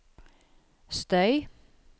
støy